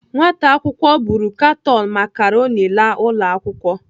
Nwata akwụkwọ buru katon macaroni laa ụlọ akwụkwọ.